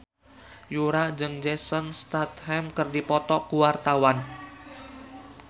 Yura jeung Jason Statham keur dipoto ku wartawan